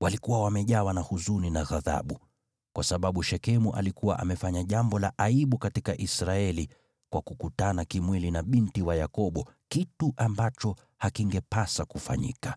Walikuwa wamejawa na huzuni na ghadhabu, kwa sababu Shekemu alikuwa amefanya jambo la aibu katika Israeli kwa kukutana kimwili na binti wa Yakobo, kitu ambacho hakingepasa kufanyika.